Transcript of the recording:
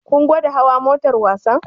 Kun gwada hawa motar wasan?